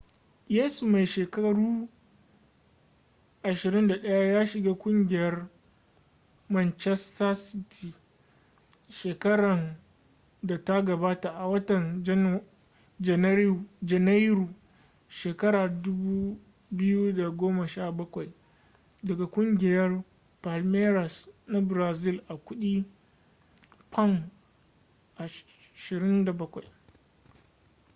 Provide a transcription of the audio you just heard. yesu mai shekaru 21 ya shiga kungiyar manchester city shekaran da ta gabata a watan janairu shekara 2017 daga kugiyar palmeiras na brazil a kudi £27